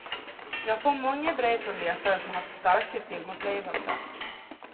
Jag får många brev från läsare som haft starka filmupplevelser.